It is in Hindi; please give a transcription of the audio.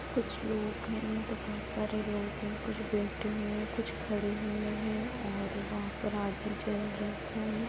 कुछ लोग है मतलब बहुत सारे लोग हैं कुछ बैठे हुए हैं कुछ खड़े हुए हैँ और वहा पर आगि जल रही हैँ।